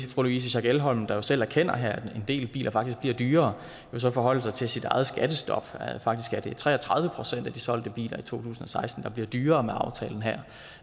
louise schack elholm der selv erkender her at en del biler faktisk bliver dyrere jo forholde sig til sit eget skattestop faktisk er det tre og tredive procent af de solgte biler i to tusind og seksten der bliver dyrere med aftalen her